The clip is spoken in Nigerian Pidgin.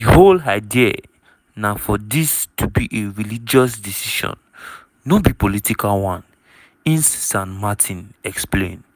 "di whole idea na for dis to be a religious decision no be political one" ines san martin explain.